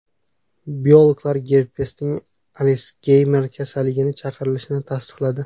Biologlar gerpesning Alsgeymer kasalligini chaqirishini tasdiqladi.